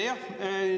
Aitäh!